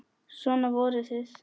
Svona voruð þið.